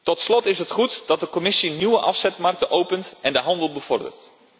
Tot slot is het goed dat de Commissie nieuwe afzetmarkten opent en de handel bevordert.